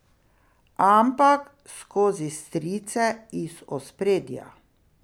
Ampak skozi strice iz ospredja.